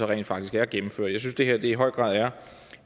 rent faktisk er gennemført jeg synes det her i høj grad er